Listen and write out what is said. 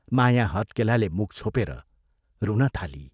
माया हत्केलाले मुख छोपेर रुन थाली।